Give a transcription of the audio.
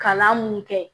Kalan mun kɛ